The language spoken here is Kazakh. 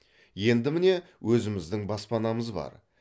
енді міне өзіміздің баспанамыз бар